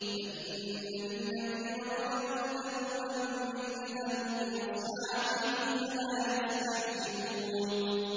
فَإِنَّ لِلَّذِينَ ظَلَمُوا ذَنُوبًا مِّثْلَ ذَنُوبِ أَصْحَابِهِمْ فَلَا يَسْتَعْجِلُونِ